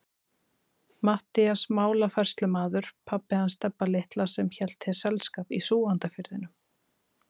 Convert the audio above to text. Matthías málafærslumaður, pabbi hans Stebba litla sem hélt þér selskap í Súgandafirðinum.